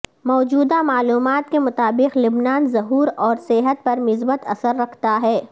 موجودہ معلومات کے مطابق لبنان ظہور اور صحت پر مثبت اثر رکھتا ہے